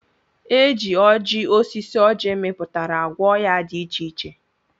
Eji oji osisi ọji miputara agwọ oya di iche iche.